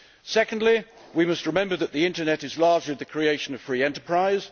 Secondly, we must remember that the internet is largely the creation of free enterprise.